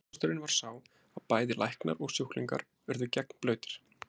ókosturinn var sá að bæði læknar og sjúklingur urðu gegnblautir